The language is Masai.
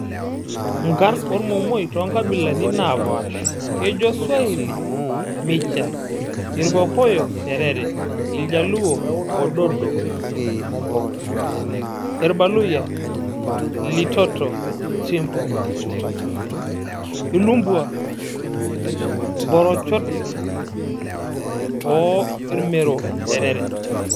Nkarn ormomoi too nkabilani naapasha:kejo swahili; micha, irkokoyo;T erere, iljaluo; Ododo/Omboga ,irbaluyia; Litoto,/Tsimboka, ilumpwa; Mborochot oo irmero; Terere.